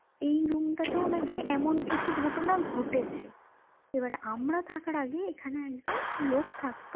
এই room টাতেও নাকি এমন কিছু ঘটনা ঘটেছে এবার আমরা থাকার আগে এখানে একজন লোক থাকতো